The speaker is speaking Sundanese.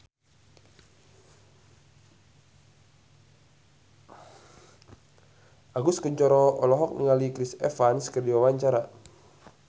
Agus Kuncoro olohok ningali Chris Evans keur diwawancara